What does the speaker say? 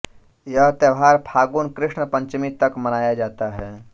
यह त्योहार फागुन कृष्ण पंचमी तक मनाया जाता है